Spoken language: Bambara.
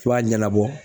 I b'a ɲɛnabɔ